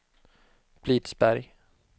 Blidsberg